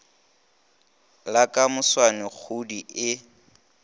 la ka moswane kgoodi e